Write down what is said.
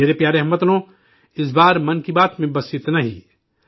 میرے پیارے ہم وطنو، اس بار 'من کی بات' میں بس اتنا ہی